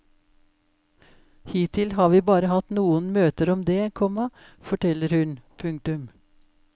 Hittil har vi bare hatt noen møter om det, komma forteller hun. punktum